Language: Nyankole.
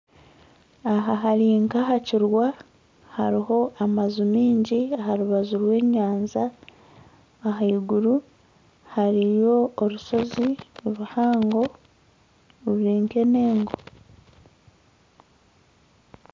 Aha harinka aha kirwa haruho amaju mingi aharubaju rw'enyanja ah'iguru hariyo orushozi ruhango rurinka enengo